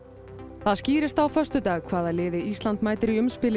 það skýrist á föstudag hvaða liði Ísland mætir í